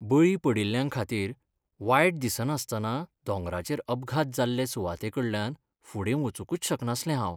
बळी पडिल्ल्यांखातीर वायट दिसनासतना दोंगराचेर अपघात जाल्ले सुवातेकडल्यान फुडें वचूंकच शकनासलें हांव.